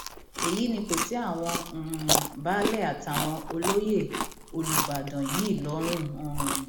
èyí ni kò tẹ àwọn um baálé àtàwọn olóyè olùbàdàn yìí lọrùn um